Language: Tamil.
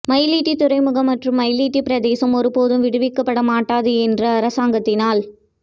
மயிலிட்டி துறைமுகம் மற்றும் மயிலிட்டி பிரதேசம் ஒருபோதும் விடுவிக்கப்படமாட்டாது என்று அரசாங்கத்தினால்